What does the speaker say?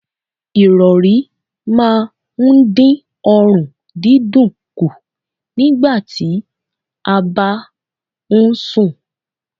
Ìrọ̀rí máa ń dín ọrùn dídùn kù nígbà tí a bá ń sùn.